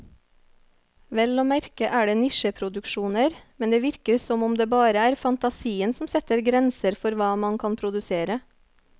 Vel å merke er det nisjeproduksjoner, men det virker som om det bare er fantasien som setter grenser for hva man kan produsere.